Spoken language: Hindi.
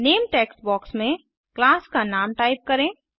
नामे टेक्स्ट बॉक्स में क्लास का नाम टाइप करें